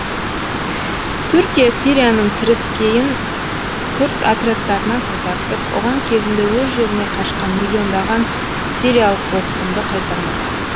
түркия сирияның теріскейін күрд отрядтарынан тазартып оған кезінде өз жеріне қашқан миллиондаған сириялық босқынды қайтармақ